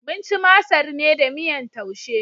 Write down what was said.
Mun ci masar ne da miyar Taushe.